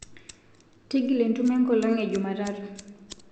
ting'ila entumo e nkolong be jumatano